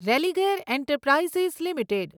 Religare enterprises limited